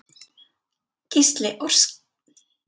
Gísli Óskarsson: Hvað ertu búinn að safna miklu?